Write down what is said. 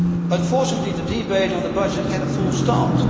Unfortunately, the debate on the budget had a false start.